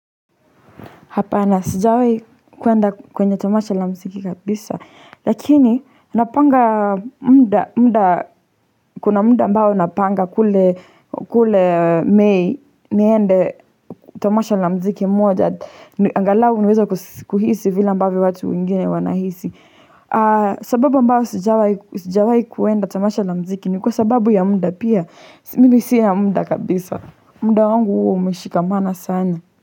Hapana, sijawai kwenda kwenye tomasha la mziki kabisa. Lakini, napanga mda kuna mda ambao napanga kule mei niende tamasha la mziki moja. Angalau niweze kuhisi vile ambavyo watu wengine wanahisi. Sababu ambayo sijawai kuenda tamasha la mziki ni kwa sababu ya muda pia. Mimi sina muda kabisa. Muda wangu hua umeshikamana sana.